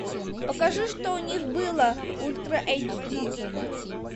покажи что у них было ультра эйч ди